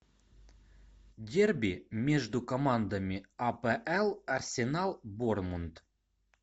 дерби между командами апл арсенал борнмут